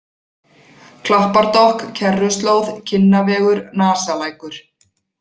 Klappardokk, Kerruslóð, Kinnavegur, Nasalækur